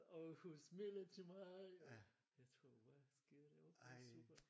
Og hun smilede til mig og jeg tror hvad sker der det super